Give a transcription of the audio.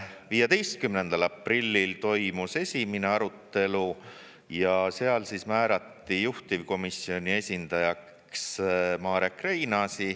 15. aprillil toimus esimene arutelu ja seal määrati juhtivkomisjoni esindajaks Marek Reinaas.